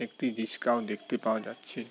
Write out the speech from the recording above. একটি রিস্কাও দেখতে পাওয়া যাচ্ছে।